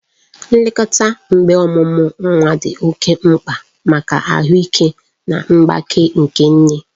Nlekọta mgbe ọmụmụ nwa dị oke mkpa maka ahụike na mgbake nke nne.